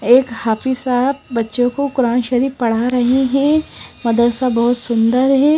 एक हाफिज साहब बच्चों को कुरान शरीफ पढ़ा रहे हैं मदरसा बहुत सुंदर है।